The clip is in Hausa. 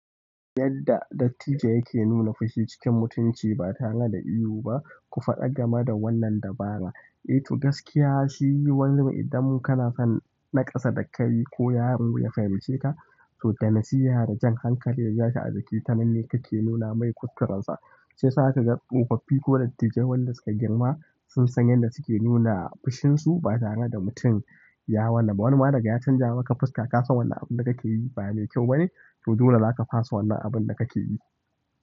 Yadda dattijo yake nuna fushi cikin mutunci ba tare da ihu ba, ku faɗa game da wannan dabara. Ito gaskiya shi yiwu wanzu idan mun kana son naƙasa da kai ko yaron ya fahimce ka, to da nasiha da jan hankali yaji a jiki tananne kake nuna mai kuskurensa. Shiyasa zakaga tsofaffi ko dattijai wanda suka girma sun san yadda suke nuna fishin su ba tare da mutum wani ya riga ya canza maka fuska ka san wannan abun da kake yi ba mai kyau bane, to dole zaka fasa wannan abun da kake yi.